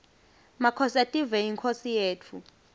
makhosetive yinkhosi yetfu